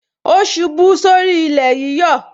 O ṣubú sórí ilé yíyọ